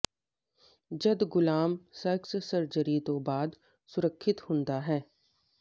ਜਦ ਗੁਲਾਮ sex surgery ਤੋਂ ਬਾਅਦ ਸੁਰੱਖਿਅਤ ਹੁੰਦਾ ਹੈ